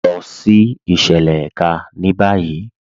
Lọ sí ìṣẹ̀lẹ̀ èká ní báyì.